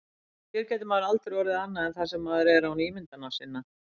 Hér getur maður aldrei orðið annað en það sem maður er án ímyndana sinna.